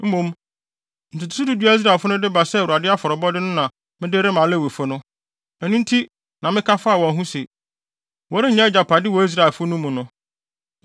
Mmom, ntotoso du du a Israelfo no de ba sɛ Awurade afɔrebɔde no na mede rema Lewifo no. Ɛno nti na meka faa wɔn ho se: ‘Wɔrennya agyapade wɔ Israelfo no mu no.’ ”